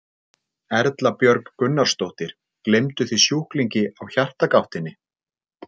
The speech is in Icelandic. Erla Björg Gunnarsdóttir: Gleymduð þið sjúklingi á Hjartagáttinni?